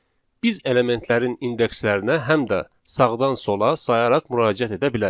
Biz elementlərin indekslərinə həm də sağdan sola sayaraq müraciət edə bilərik.